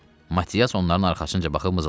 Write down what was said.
Matias onların arxasınca baxıb mızıldandı: